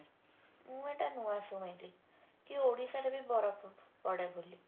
ମୁଁ ଏଟା ନୂଆ ଶୁଣିଲି କି ଓଡିଶାରେ ବି ବରଫ ପଡେ ବୋଲି